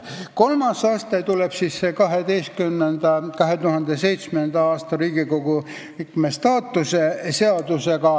Kolmandaks tuli siis see 2007. aastal vastu võetud Riigikogu liikme staatuse seadus.